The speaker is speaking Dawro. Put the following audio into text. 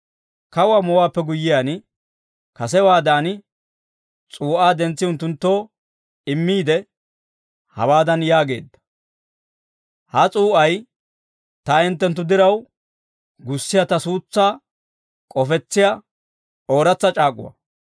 Kawuwaa moowaappe guyyiyaan, kasewaadan s'uu'aa dentsi unttunttoo immiide, hawaadan yaageedda: «Ha s'uu'ay, ta hinttenttu diraw gussiyaa ta suutsaa k'ofetsiyaa ooratsa c'aak'uwaa.